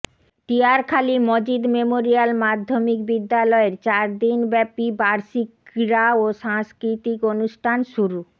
Tiarkhali Majid memorial মাধ্যমিক বিদ্যালয়ের চার দিন ব্যাপী বার্ষিক ক্রীড়া ও সাংস্কৃতিক অনুষ্ঠান শুরু